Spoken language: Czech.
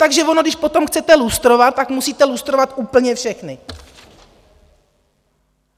Takže ono, když potom chcete lustrovat, tak musíte lustrovat úplně všechny.